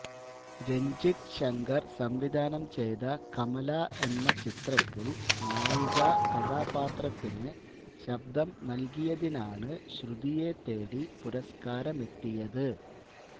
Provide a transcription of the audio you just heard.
രഞ്ജിത്ത് ശങ്കർ സംവിധാനം ചെയ്ത കമല എന്ന ചിത്രത്തിൽ നായികാ കഥാപാത്രത്തിന് ശബ്ദം നൽകിയതിനാണ് ശ്രുതിയെ തേടി പുരസ്കാരമെത്തിയത്